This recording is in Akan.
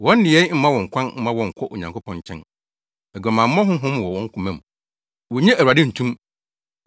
“Wɔn nneyɛe mma wɔ kwan mma wɔnnkɔ Nyankopɔn nkyɛn. Aguamammɔ honhom wɔ wɔn koma mu; wonnye Awurade nto mu.